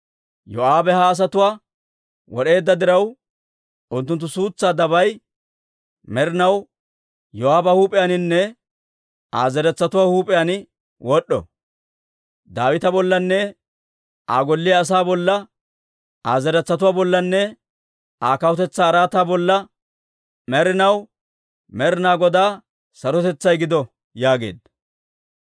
Yoo'aabe ha asatuwaa wod'eedda diraw, unttunttu suutsaa dabay med'inaw Yoo'aaba huup'iyaaninne Aa zeretsatuwaa huup'iyaan wod'd'o. Daawita bollanne Aa golliyaa asaa bolla, Aa zeretsatuwaa bollanne Aa kawutetsaa araataa bolla med'inaw Med'inaa Godaa sarotetsay gido» yaageedda.